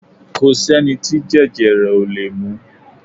Kò sẹ́ni tí jẹjẹrẹ ò lè mú